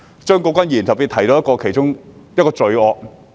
張國鈞議員剛才特別提到一種罪惡。